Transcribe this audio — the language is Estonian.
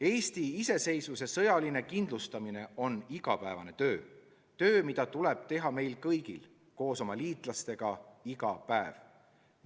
Eesti iseseisvuse sõjaline kindlustamine on igapäevane töö – töö, mida tuleb teha meil kõigil koos oma liitlastega iga päev.